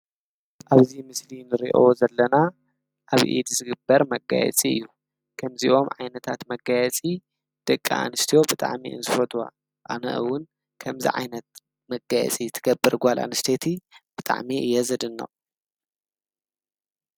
ኣብዚ ምስሊ እንርእዮ ዘለና ኣብ ኢድ ዝግበር መጋየጺ እዩ፤ ከምዚኦም ዓይነታት መጋየጺ ደቂ ኣንስትዮ ብጣዕሚ እየን ዝፈትዋ ፤ኣነ ዉን ከምዚ ዓይነት መጋየጺ እትገብር ጓል ኣንስተይቲ ብጣዕሚ እየ ዘድንቅ።